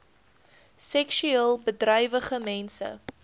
seksueel bedrywige mense